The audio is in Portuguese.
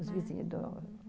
Os vizinhos.